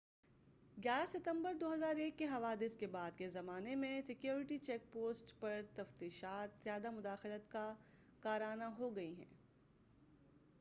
ستمبر 11 2001 کے حوادث کے بعد کے زمان میں سیکیورٹی چیک پوائبٹس پرتفتیشات زیادہ مداخلت کارانہ ہو گئی ہیں